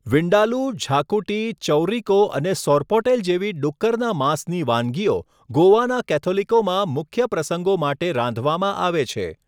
વિન્દાલૂ, ઝાકુટી, ચૌરિકો અને સોરપોટેલ જેવી ડુક્કરના માંસની વાનગીઓ ગોવાના કેથોલિકોમાં મુખ્ય પ્રસંગો માટે રાંધવામાં આવે છે.